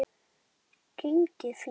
Þetta hefur gengið fínt.